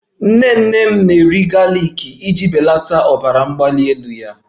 Nnene m na-eri galiki iji belata ọbara mgbali elu ya